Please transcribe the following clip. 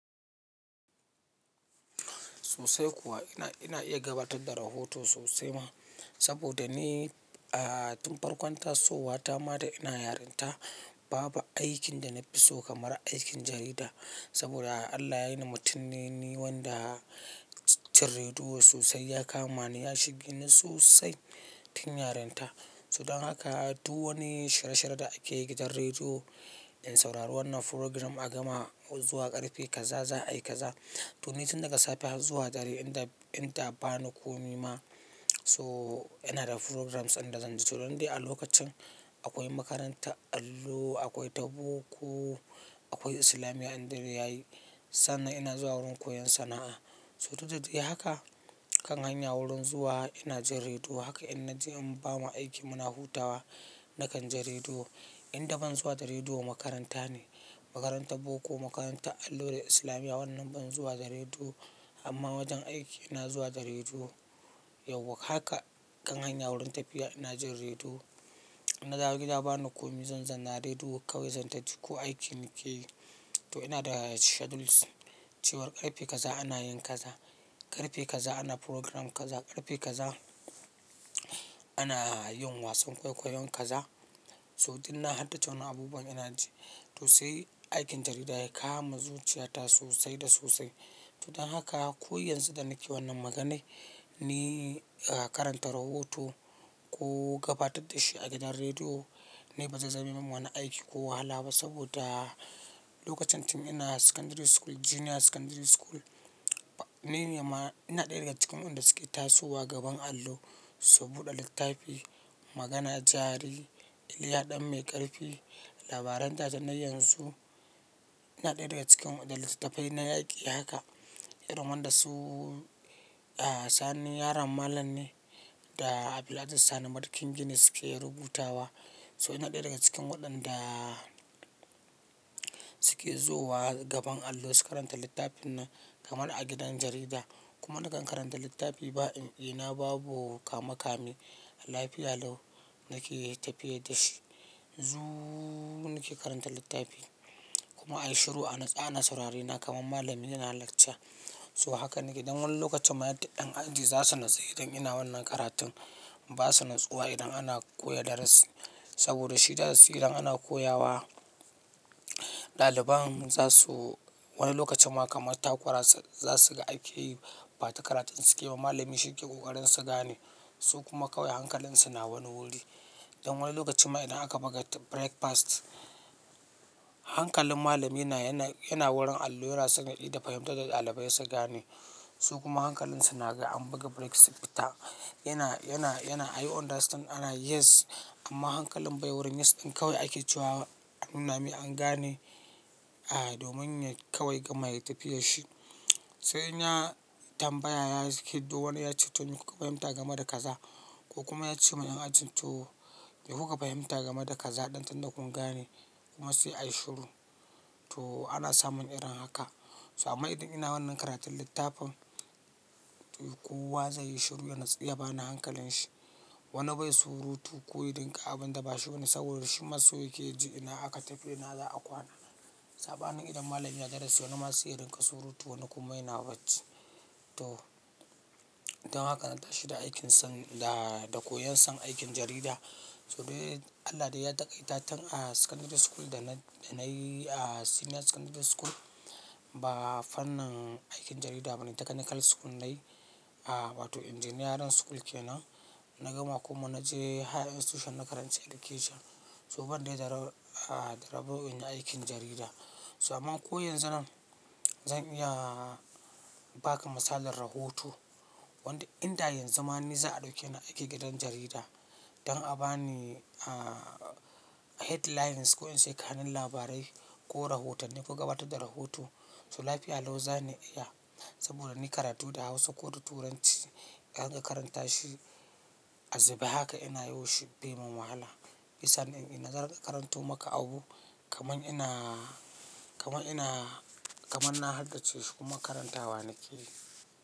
Sosai kuwa ina, ina iya gabatar da rahoto sosai ma saboda ni, ah, tun farkon tasowa ta ma da ina yarinta babu aikin da na fi so kamar aikin jarida. Saboda Allah ya yi ni mutum ne ni wanda son rediyo sosai ya kama ni ya shige ni sosai tun yarinta. So don haka duk wani shirye-shirye da ake yi gidan rediyo in saurari wannan program a gama zuwa ƙarfe kaza za a yi kaza. To ni tun daga safe har zuwa dare in da, in da ba ni komi ma so ina da programs in da zan ji. To don dai a lokacin akwai makaranta allo, akwai ta boko, akwai islamiya in dare yayi. Sannan ina zuwa wurin koyon sana'a. Toh duk da dai haka kan hanya wurin zuwa ina jin rediyo haka in na je in ba ma aiki muna hutawa na kan ji rediyo. In da ban zuwa da rediyo makaranta ne, makaranta boko, makaranta allo da islamiya wannan ban zuwa da rediyo amma wajen aiki ina zuwa da rediyo. Yauwa Haka kan hanya wurin tafiya ina jin rediyo. Na dawo gida ba ni komi zan zana rediyo kawai zan taji ko aiki nake yi. To ina da schedules cewar ƙarfe kaza ana yin kaza, ƙarfe kaza ana program kaza, ƙarfe kaza ana yin wasan kwaikwayon kaza. So duk na hardace wanan abubuwan ina ji. To sai aikin jarida ya kama zuciyata sosai da sosai. To don haka ko yanzu da nake wannan magana, ni, ah, karanta rahoto ko gabatar da shi a gidan rediyo ni ba zai zame min wani aiki ko wahala ba saboda lokacin tun ina secondary school, junior secondary school ni ne ma ina ɗaya daga cikin wa'an da suke tasowa gaban allo su buɗe littafi, magana jari, Iliya ɗan mai ƙarfi, labaran tatsuniyoyin yanzu. Ina ɗaya daga cikin da littattafai na yaki haka. Irin wanda su, ah, sani yaron malam ne da Abdul'azeez Sani marken gini suke rubutawa. To ina ɗaya daga cikin wa'anda suke zowa gaban allo su karanta littafin nan kamar a gidan jarida. Kuma na kan karanta littafi ba eh-eh na, babu kama-kame. Lafiyalau nake tafiya da shi. Zuu nake karanta littafi kuma ayi shiru a natsu ana saurare na kamar malamin yana lecture. To haka nake don wani lokacin ma yadda yan aji za su natsu idan ina wannan karatun. Ba su natsuwa idan ana koya darasi saboda shi darasi idan ana koya wa ɗaliban za su wani lokacin ma kamar takura su za su ga akeyi ba ta karatun suke yi ma malamin shi ke ƙoƙarin su gane su kuma kawai hankalin su na wani wuri. Don wani lokacin ma idan aka buga breakfast hankalin malamin yana, yana wurin allo yana so ya ida fahimtar da ɗalibai su gane su kuma hankalin su na ga an buga break su fita. Yana, yana, yana are you understand? Ana yes amma hankalin bai wurin yes ɗin kawai ake cewa a nu na mai an gane, ah, domin kawai gama ya tafiya shi. Sai in ya tambaya ya hiɗo wani ya ce to ni kuka fahimta gama da kaza ko kuma ya ce ma yan aji to mai kuka fahimta gama da kaza ɗin tunda kun gane kuma sai ayi shiru. To ana samun irin haka. So amma idan ina wannan karatun littafin toh kowa zai yi shiru ya natsu ya ba ni hankalin shi. Wani bai surutu ko ya dinga abun da ba shi bane saboda shi ma so yake ya ji ina aka tafi ina za a kwana. Sabanin idan malamin na darasi wani ma sai ya dinga surutu wani kuma yana bacci. To don haka na tashi da aikin san da, da koyon son aikin jarida. To dai Allah dai ya takaita tun a secondary school da na, da na yi a senior secondary school ba fannin aikin jarida bane technical school nayi. Ah, wato engineering school kenan na gama kuma na je higher institution na karanci education. To ban dai da rabon in yi aikin jarida. To amma ko yanzu nan zan iya ba ka misalin rahoto wanda in da yanzu ma ni za a ɗauke ni aiki gidan jarida don a bani, ah, headlines ko ince kanun labarai ko rohotani ko gabatar da rohoto. To lafiyalau za ni iya saboda ni karatu da Hausa ko da Turanci in rinka karanta shi azubai haka ina yau wa shi bai min wahala. San in, zan rinka karanto maka abu kamar ina, kamar ina, kamar na haddace shi kuma karantawa nake yi.